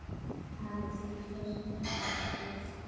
Hafið þið heyrt þetta aftur?